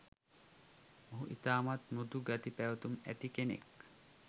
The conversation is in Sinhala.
මොහු ඉතාමත් මෘදු ගති පැවැතුම් ඇති කෙනෙක්.